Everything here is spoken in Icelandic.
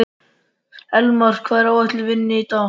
Elmar, hvað er á áætluninni minni í dag?